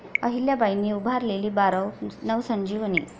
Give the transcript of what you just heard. अहिल्याबाईंनी उभारलेली बारव नवसंजीवनी!